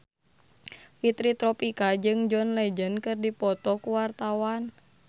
Fitri Tropika jeung John Legend keur dipoto ku wartawan